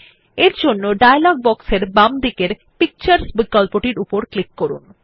তাই ডায়লগ বক্সের বাম দিকের পিকচার্স বিকল্পটির উপর ক্লিক করুন